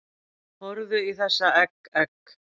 Horfðu í þessa egg, egg